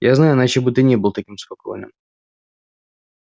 я знаю иначе бы ты не был таким спокойным